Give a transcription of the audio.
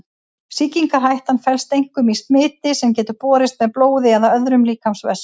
Sýkingarhættan felst einkum í smiti sem getur borist með blóði eða öðrum líkamsvessum.